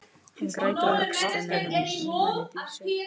Hann grætur á öxlinni á henni Dísu.